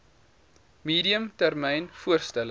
medium termyn voorstelle